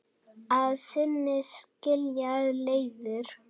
Að sinni skilja leiðir.